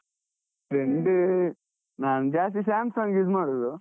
Trend ನಾನ್ ಜಾಸ್ತಿ Samsung use ಮಾಡುದು.